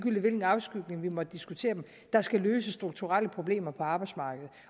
i hvilken afskygning vi måtte diskutere dem der skal løse strukturelle problemer på arbejdsmarkedet